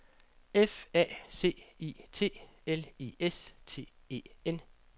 F A C I T L I S T E N